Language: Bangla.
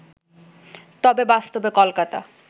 তবে বাস্তবে কলকাতা